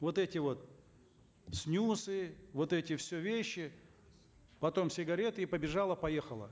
вот эти вот снюсы вот эти все вещи потом сигареты и побежала поехала